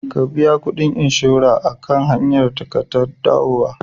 Ka biya kuɗin inshora akan hanyar ka ta dawowa.